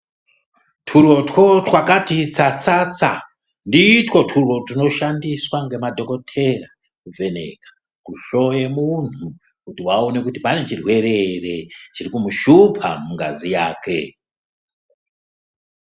Twurotwo twakati tsatsatsa nditwo twuro twunoshandiswa ngema dhokoteya ku vhenekwa hloyo ye muntu kuti vaone kuti pane chi rwere ere chiri kumu shupa mu ngazi yake.